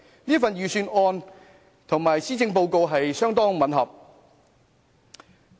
這份預算案跟施政報告相當吻合。